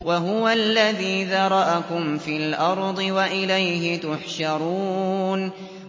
وَهُوَ الَّذِي ذَرَأَكُمْ فِي الْأَرْضِ وَإِلَيْهِ تُحْشَرُونَ